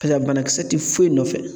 Paseke banakisɛ tɛ foyi nɔfɛ